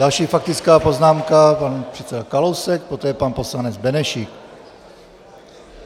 Další faktická poznámka pan předseda Kalousek, poté pan poslanec Benešík.